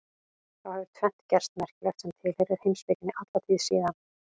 Þá hefur tvennt gerst merkilegt sem tilheyrir heimspekinni alla tíð síðan.